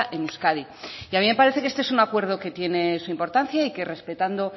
en euskadi y a mí me parece que este es un acuerdo que tiene su importancia y que respetando